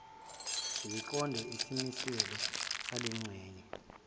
ziqondiso isimiselo salengxenye